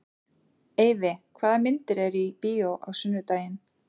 Eyfi, hvaða myndir eru í bíó á sunnudaginn?